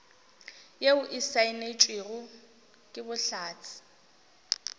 yeo e saenetšwego ke bohlatse